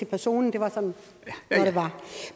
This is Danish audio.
personen